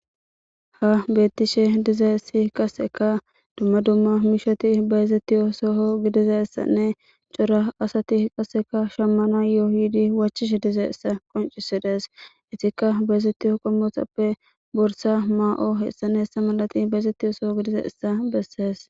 Ha beettishe dize si kaseka dumma dumma mishoti bayezettiyoosoo gidiza issanne cora asati qasseka shammana yoohidi wachishe dize issa qoncisides itikka bayezettiyo qommotappe borsa maa7o heessaneessa malati bayezettiyoosoo gidiza issa bessees,